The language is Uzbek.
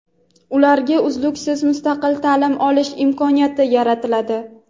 ularga uzluksiz mustaqil ta’lim olish imkoniyati yaratiladi.